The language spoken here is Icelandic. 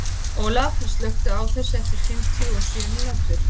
Olaf, slökktu á þessu eftir fimmtíu og sjö mínútur.